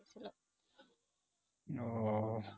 ও